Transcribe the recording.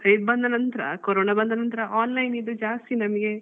Site ಬಂದ ನಂತ್ರ corona ಬಂದ ನಂತ್ರ online ದ್ದು ಜಾಸ್ತಿ ನಮ್ಗೆ